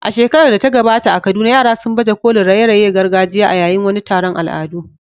A shekarar da ta gabata a Kaduna, yara sun baje kolin raye-rayen gargajiya a yayin wani taron al'adu.